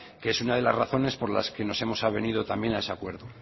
que es una de las razones por las que nos hemos avenido también a ese acuerdo